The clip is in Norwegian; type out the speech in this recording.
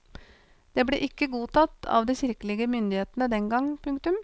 Det ble ikke godtatt av de kirkelige myndighetene den gang. punktum